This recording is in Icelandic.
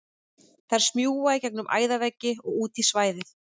Þær smjúga í gegnum æðaveggi og út í svæðið.